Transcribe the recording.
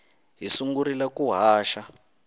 hi sungurile ku haxa